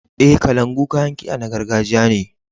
E, kalangu kayan kiɗa na gargajiya ne.